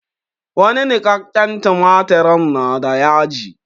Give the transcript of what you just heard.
Wani niƙakƙen tumatirin na da yaji.